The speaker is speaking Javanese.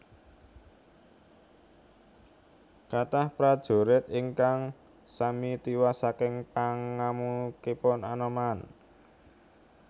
Kathah prajurit ingkang sami tiwas saking pangamukipun Anoman